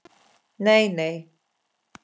Nei, nei